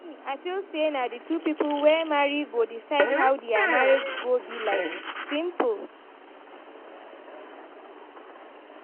Me I feel say na the two people wey marry go decide how dia marriage go be like, simple!